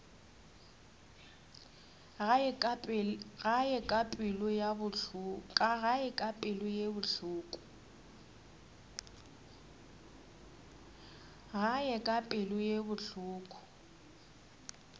gae ka pelo ye bohloko